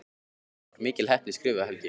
Það var mikil heppni skrifar Helgi.